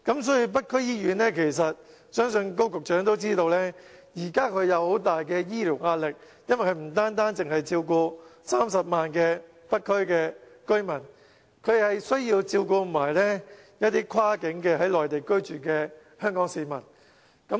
所以，相信高局長都知道，北區醫院有很大的醫療壓力，因為它不單照顧30萬北區居民，還要照顧一些跨境在內地居住的香港市民。